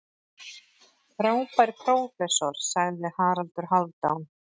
Frábær prófessor, sagði Haraldur Hálfdán.